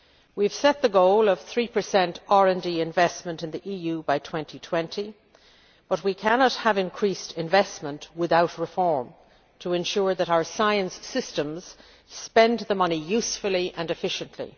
We have set the goal of 3 RD investment in the EU by 2020, but we cannot have increased investment without reform to ensure that our science systems spend the money usefully and efficiently.